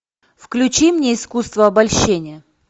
включи мне искусство обольщения